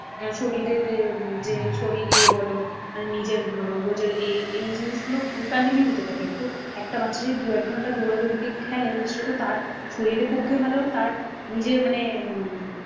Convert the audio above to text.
উম শরীরের এ যে শরীরই বলো নিজের রোজের এই এই জিনিসগুলো continue হতে থাকে। একটু একটা বাচ্চা যদি দু এক ঘন্টা দৌড়া দৌড়ি গিয়ে খেলে সেটা তো তার শরীরের পক্ষে ভালো। তার নিজের মানে